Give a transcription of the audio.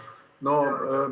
Aitäh!